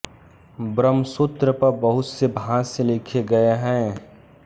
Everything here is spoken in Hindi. ब्रह्मसूत्र पर बहुत से भाष्य लिखे गए हैं